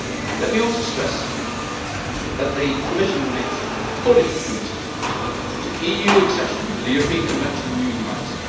Let me also stress that the Commission remains fully committed to EU accession to the European Convention on Human Rights.